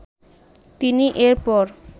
তিনি এর পর